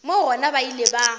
moo gona ba ile ba